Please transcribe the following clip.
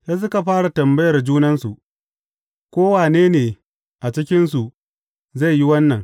Sai suka fara tambayar junansu, ko wane ne a cikinsu zai yi wannan.